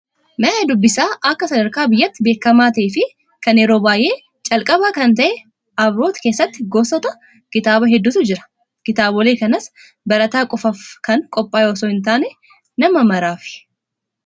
Mana dubbisaa akka sadarkaa biyyaatti beekamaa ta'ee fi kan yeroo calqabaa kan ta'e Abiroot keessatti gosoota kitaabaa hedduutu jira. Kitaabolee kanas barataa qofaaf kan qophaa'e osoo hin taane nama maraafi.